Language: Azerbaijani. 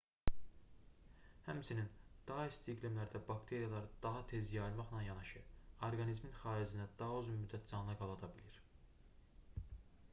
həmçinin daha isti iqlimlərdə bakteriyalar daha tez yayılmaqla yanaşı orqanizmin xaricində daha uzun müddət canlı qala da bilir